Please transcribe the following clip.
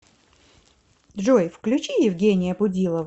джой включи евгения будилова